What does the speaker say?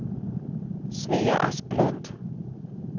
Svea Asplund